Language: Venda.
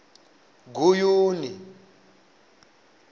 guyuni